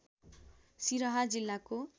सिरहा जिल्लाको